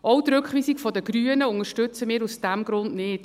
Auch die Rückweisung der Grünen unterstützen wir aus diesem Grund nicht.